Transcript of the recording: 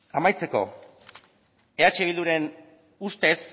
amaitzeko eh bilduren ustez